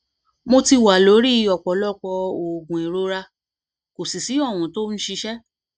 mo ti wà lórí ọpọlọpọ oògùn ìrora kò sì sí ohun tí ó ń ṣiṣẹ